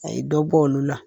A ye dɔ bɔ olu la